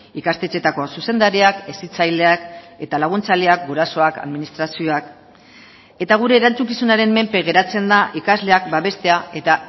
ikastetxeetako zuzendariak hezitzaileak eta laguntzaileak gurasoak administrazioak eta gure erantzukizunaren menpe geratzen da ikasleak babestea eta